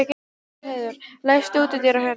Aðalheiður, læstu útidyrunum.